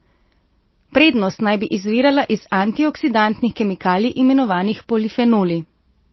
Prednost naj bi izvirala iz antioksidantnih kemikalij, imenovanih polifenoli.